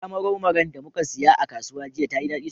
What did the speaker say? Gyaɗa marau maran da muka siya a kasuwa jiya, tayi daɗi sosai.